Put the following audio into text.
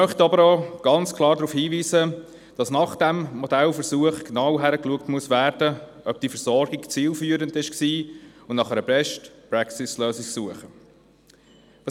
Wir möchten aber auch ganz klar darauf hinweisen, dass man nach diesem Modellversuch genau prüfen muss, ob die Versorgung zielführend war, und dass nach einer Best-Practice-Lösung gesucht werden muss.